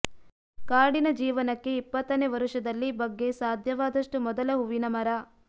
ಕಾಡಿನ ಜೀವನಕ್ಕೆ ಇಪ್ಪತ್ತನೇ ವರುಷದಲ್ಲಿ ಬಗ್ಗೆ ಸಾಧ್ಯವಾದಷ್ಟು ಮೊದಲ ಹೂವಿನ ಮರ